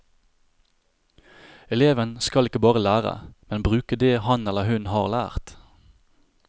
Eleven skal ikke bare lære, men bruke det han eller hun har lært.